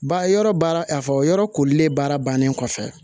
Ba yɔrɔ baara a fɔ yɔrɔ kolilen baara bannen kɔfɛ